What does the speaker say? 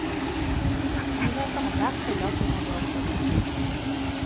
Nyheter om hver spiller finner du også der.